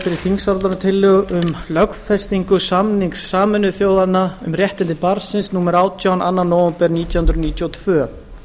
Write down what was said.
um lögfestingu samnings sameinuðu þjóðanna um réttindi barnsins númer átján annan nóvember nítján hundruð níutíu og tvö